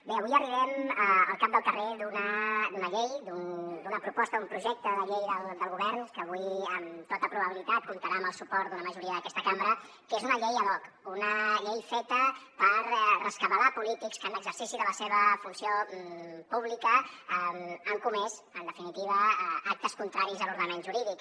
bé avui arribem al cap del carrer d’una llei d’una proposta un projecte de llei del govern que avui amb tota probabilitat comptarà amb el suport d’una majoria d’aquesta cambra que és una llei ad hoc una llei feta per rescabalar polítics que en l’exercici de la seva funció pública han comès en definitiva actes contraris a l’ordenament jurídic